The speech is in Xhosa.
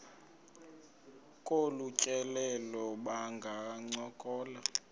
kolu tyelelo bangancokola